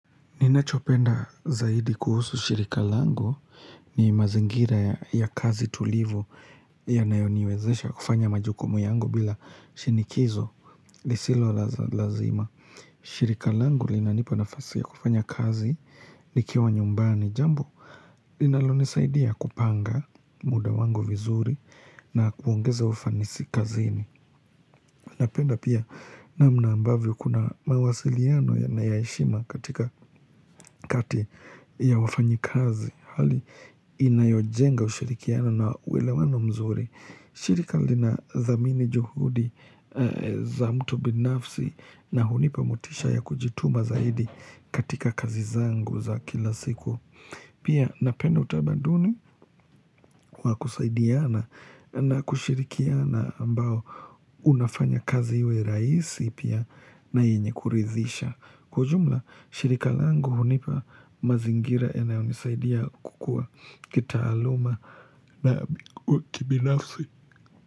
Ninachopenda zaidi kuhusu shirika langu ni mazingira ya kazi tulivu yanayoniwezesha kufanya majukumu yangu bila shinikizo lisilo lazima. Shirika langu linanipa nafasi ya kufanya kazi nikiwa nyumbani jambo linalonisaidia kupanga muda wangu vizuri na kuongeza ufanisi kazini. Napenda pia namna ambavyo kuna mawasiliano ya naya heshima katika kati ya wafanyikazi Hali inayojenga ushirikiano na uwelewano mzuri shirika lina thamini juhudi za mtu binafsi na hunipa motisha ya kujituma zaidi katika kazi zangu za kila siku Pia napenda utamaduni kwa kusaidiana na kushirikiana ambao unafanya kazi iwe rahisi pia na yenye kurithisha. Kwa ujumla, shirika langu hunipa mazingira yanayo hunisaidia kukua kitaaluma na kibinafsi.